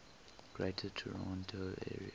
greater toronto area